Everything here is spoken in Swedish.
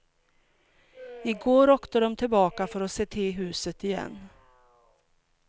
I går åkte de tillbaka för att se till huset igen.